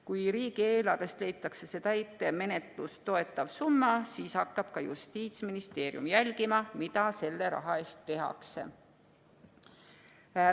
Kui riigieelarvest leitakse see täitemenetlust toetav summa, siis hakkab Justiitsministeerium ka jälgima, mida selle raha eest tehakse.